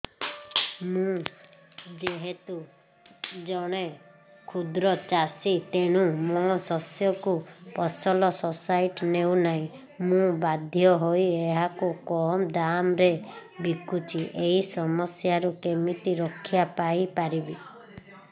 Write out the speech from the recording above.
ମୁଁ ଯେହେତୁ ଜଣେ କ୍ଷୁଦ୍ର ଚାଷୀ ତେଣୁ ମୋ ଶସ୍ୟକୁ ଫସଲ ସୋସାଇଟି ନେଉ ନାହିଁ ମୁ ବାଧ୍ୟ ହୋଇ ଏହାକୁ କମ୍ ଦାମ୍ ରେ ବିକୁଛି ଏହି ସମସ୍ୟାରୁ କେମିତି ରକ୍ଷାପାଇ ପାରିବି